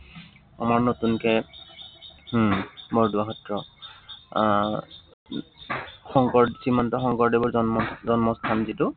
বৰদোৱা সত্ৰ আহ শংকৰ, শ্ৰীমন্ত শংকৰদেৱৰ জন্ম জন্মস্থান যিটো